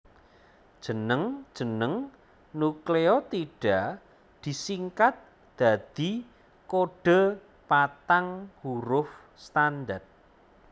Jeneng jeneng nukleotida disingkat dadi kodhe patang huruf standar